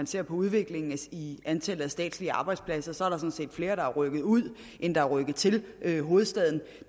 ser på udviklingen i antallet af statslige arbejdspladser sådan set flere der er rykket ud end der er rykket til til hovedstaden